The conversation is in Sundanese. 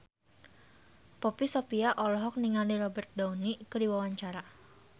Poppy Sovia olohok ningali Robert Downey keur diwawancara